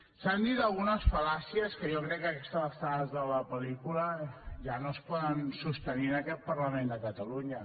s’han dit algunes fal·làcies que jo crec que a aquestes alçades de la pel·lícula ja no es poden sostenir en aquest parlament de catalunya